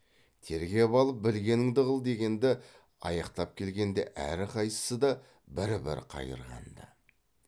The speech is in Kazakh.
тергеп алып білгеніңді қыл дегенді аяқтап келгенде әрқайсысы да бір бір қайырған ды